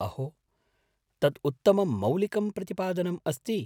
अहो, तत् उत्तमं मौलिकं प्रतिपादनम् अस्ति।